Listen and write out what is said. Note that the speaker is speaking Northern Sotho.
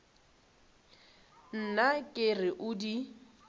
nna ke re o di